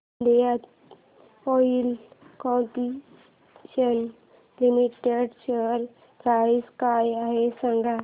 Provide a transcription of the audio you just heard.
Indian Oil Corporation Limited share price काय आहे सांगा